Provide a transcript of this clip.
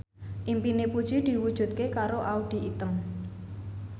impine Puji diwujudke karo Audy Item